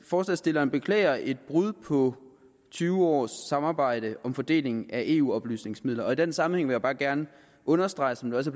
forslagsstillerne beklager et brud på tyve års samarbejde om fordelingen af eu oplysningsmidler i den sammenhæng vil jeg bare gerne understrege som det også